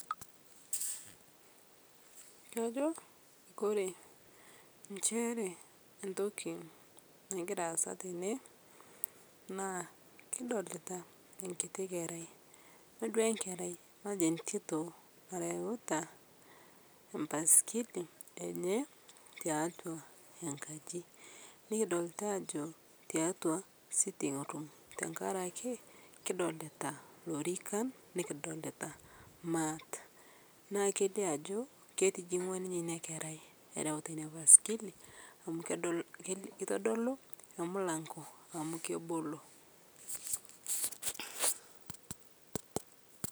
Kajo enshere ntoki nagiraa aasa tenee naa kidolita nkitii kerai matejo ntitoo nareuta matejo mpaskili enye taatua enkaji nikidolita ajo teatua seating room, tankarakee kidolitaa lorikan, nikidolita mat, naa keilio ajo ketijingua ninye inia kerai erautaa inia paskili amu kedol keitodoluu to mulang'o amu kebolo.